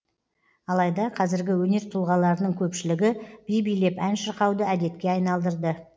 алайда қазіргі өнер тұлғаларының көпшілігі би билеп ән шырқауды әдетке айналдырды